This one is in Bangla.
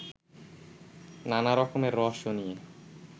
নানা রকমের রহস্য নিয়ে